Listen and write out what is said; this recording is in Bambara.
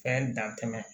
Fɛn dan tɛmɛ